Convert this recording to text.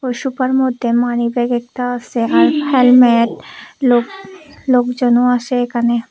Sofa র মধ্যে money bag একটা আছে আর হেলমেট লোক লোকজনও আসে এখানে।